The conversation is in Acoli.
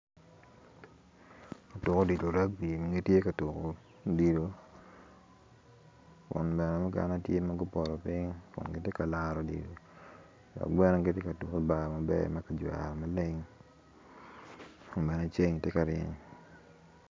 Lutuku odilo ragbi ma giti ka tuku odilo kun bene mukene ti ma gupoto piny kun giti ka laro odilo dok bene giti ka tuku i bar maber ma kijwero maleng ma ceng ti ka ryeny